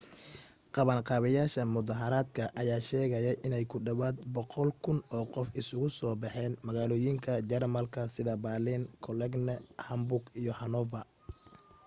qabanqaabiyayaasha mudahaaradka ayaa sheegay inay ku dhawaad 100,000 oo qof isugu soo baxeen magaalooyinka jarmalka sida baaliin cologne hamburg iyo hanover